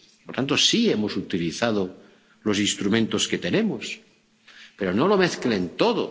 Por tanto, sí hemos utilizado los instrumentos que tenemos, pero no lo mezclen todo.